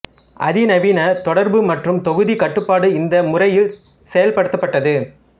அதிநவீன தொடர்பு மற்றும் தொகுதி கட்டுப்பாடு இந்த முறையில் செயல்படுத்தப்பட்டது